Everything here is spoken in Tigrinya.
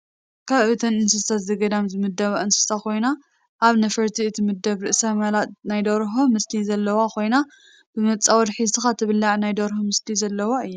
ካብ እተን እንስሳ ዘገዳም ዝምደባ እንስሳ ኮይና ኣብ ነፈርትን እትምደብ ርእሳ መላጥ ናይ ደርሆ ምስሊ ዘለዋ ኮይና ብመፃወድ ሒዝካ ትብላዕ ናይ ደርሆ ምስሊ ዘለዋ እያ።